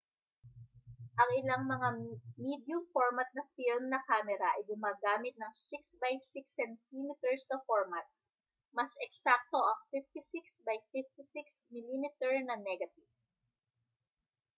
ang ilang mga medium-format na film na kamera ay gumagamit ng 6 by 6 cm na format mas eksakto ang 56 by 56 mm na negative